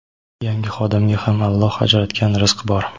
yangi xodimga ham Alloh ajratgan rizq bor.